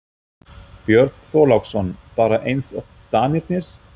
Björn Þorláksson: Bara eins og Danirnir?